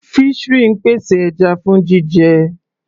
Fishery ń pèsè ẹja fún jíjẹ.